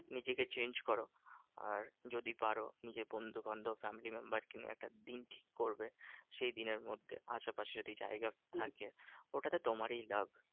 নিজেকে change করো। আর যদি পারো নিজের বন্ধুবান্ধব family member কে নিয়ে একটা দিন ঠিক করবে। সেই দিনের মধ্যে পাশাপাশি যদি জায়গা থাকে ওটাতে তোমারই লাভ।